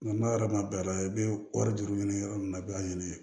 Nka n'a yɛrɛ ma bɛn a la i be kɔɔri juru ɲini yɔrɔ min na i b'a ɲini